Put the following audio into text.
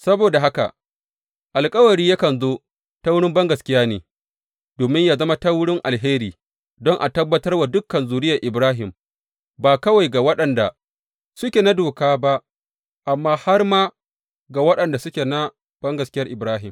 Saboda haka, alkawari yakan zo ta wurin bangaskiya ne, domin yă zama ta wurin alheri, don a tabbatar wa dukan zuriyar Ibrahim ba kawai ga waɗanda suke na doka ba amma har ma ga waɗanda suke na bangaskiyar Ibrahim.